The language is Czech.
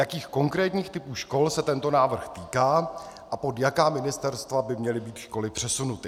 Jakých konkrétních typů škol se tento návrh týká a pod jaká ministerstva by měly být školy přesunuty.